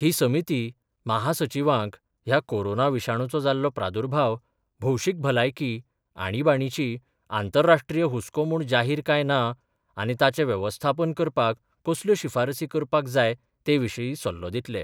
ही समिती महासचीवांक ह्या कोरोना विशाणूचो जाल्लो प्रादुर्भाव भौशीक भलायकी आणिबाणीची आंतरराष्ट्रीय हुसको म्हूण जाहीर काय न आनी ताचे वेवस्थापन करपाक कसल्यो शिफारसी करपाक जाय ते विशीं सल्लो दितले.